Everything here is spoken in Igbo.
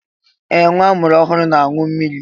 Ee! Nwa amụrụ ọhụrụ na-aṅụ mmiri.